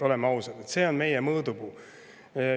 Oleme ausad, see on tegelikult meie mõõdupuu.